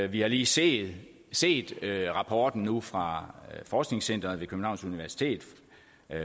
vi har lige set set rapporten nu fra forskningscenteret ved københavns universitet